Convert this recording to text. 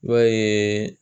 I b'a ye